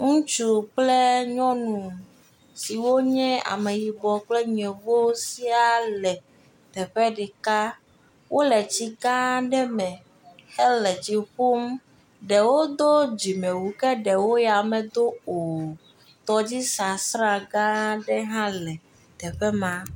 Ŋutsu kple nyɔnu siwo nye ameyibɔ kple nyevo sia le teƒe ɖeka, wole tsi gã aɖe me, he le tsi ƒum, ɖewo do dzime wu, ke ɖewo ya me do o, tɔdzi sasra gã ɖe hã le teƒe ma.